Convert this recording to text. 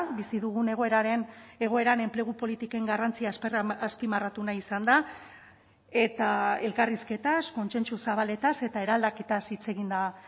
bizi dugun egoeraren egoeran enplegu politiken garrantzia azpimarratu nahi izan da eta elkarrizketaz kontsentsu zabaletaz eta eraldaketaz hitz egin da